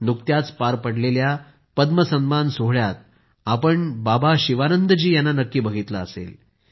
नुकत्याच पार पडलेल्या पद्म सन्मान सोहळ्यात आपण बाबा शिवानंद जी यांना नक्की बघितले असेल